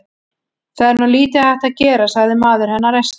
Það er nú lítið hægt að gera, sagði maður hennar æstur.